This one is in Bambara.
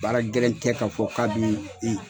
Baara gɛlɛn tɛ k'a fɔ k'a bɛ i